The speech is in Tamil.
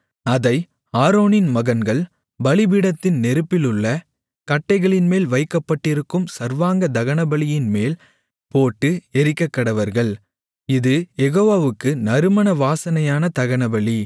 அதை ஆரோனின் மகன்கள் பலிபீடத்தின் நெருப்பிலுள்ள கட்டைகளின்மேல் வைக்கப்பட்டிருக்கும் சர்வாங்க தகனபலியின்மேல் போட்டு எரிக்கக்கடவர்கள் இது யெகோவாவுக்கு நறுமண வாசனையான தகனபலி